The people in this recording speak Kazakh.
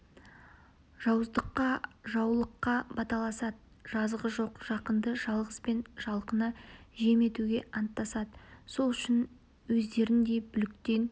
жауыздыққа жаулыққа баталасады жазығы жоқ жақынды жалғыз бен жалқыны жем етуге анттасады сол үшін өздеріндей бүліктен